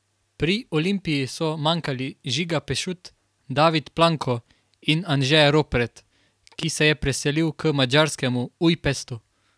Pri Olimpiji so manjkali Žiga Pešut, David Planko in Anže Ropret, ki se je preselil k madžarskemu Ujpestu.